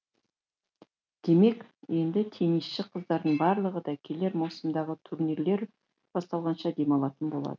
демек енді теннисші қыздардың барлығы да келер маусымдағы турнирлер басталғанша демалатын болады